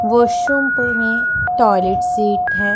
Washroom में toilet seat है।